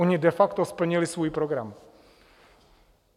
Ony de facto splnily svůj program.